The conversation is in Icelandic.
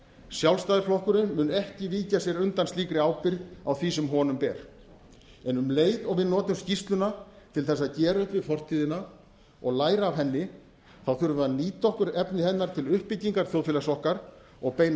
sjálfstæðisflokkurinn mun ekki víkja sér undan slíkri ábyrgð á því sem honum ber en um leið og við notum skýrsluna til að gera upp við fortíðina og læra af henni þá þurfum við að nýta okkur efni hennar til uppbyggingar okkar og beina